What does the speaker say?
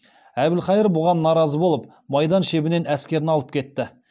әбілхайыр бұған наразы болып майдан шебінен әскерін алып кетті